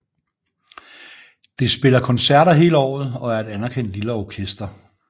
Det spiller koncerter hele året og er et anerkendt lille orkester